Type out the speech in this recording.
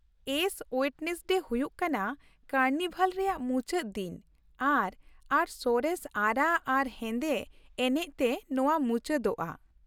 S Wednesday ᱦᱩᱭᱩᱜ ᱠᱟᱱᱟ carnival ᱨᱮᱭᱟᱜ ᱢᱩᱪᱟᱹᱫ ᱫᱤᱱ ᱟᱨ ᱟᱨ ᱥᱚᱨᱮᱥ ᱟᱨᱟᱜ ᱟᱨ ᱦᱮᱸᱫᱮ ᱮᱱᱮᱪ ᱛᱮ ᱱᱚᱶᱟ ᱢᱩᱪᱟᱹᱫᱚᱜᱼᱟ ᱾